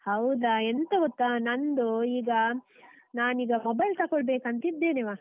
ಹೌದಾ, ಎಂತ ಗೊತ್ತ, ನಂದು ಈಗ ನಾನ್ ಈಗ mobile ತಗೊಳ್ಬೇಕಂತಾ ಇದ್ದೇನೆ. ವಾ.